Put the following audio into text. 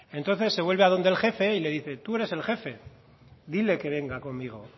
entonces se vuelve a donde el jefe y le dice tú eres el jefe dile que venga conmigo